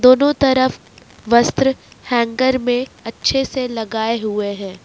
दोनों तरफ वस्त्र हैंगर में अच्छे से लगाए हुए हैं।